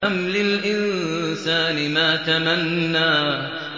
أَمْ لِلْإِنسَانِ مَا تَمَنَّىٰ